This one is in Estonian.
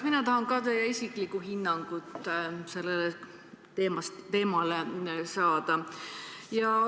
Mina tahan ka saada teie isiklikku hinnangut.